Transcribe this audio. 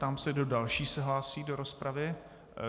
Ptám se, kdo další se hlásí do rozpravy.